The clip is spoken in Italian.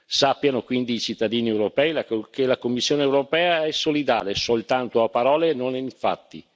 Sappiano quindi i cittadini europei che la Commissione europea è solidale soltanto a parole e non nei fatti.